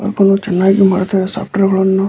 ಹಾಗು ಚೆನ್ನಾಗಿ ಮಾಡ್ತಾರೆ ಸಾಫ್ಟ್ವೇರ್ ಗಳನ್ನೂ --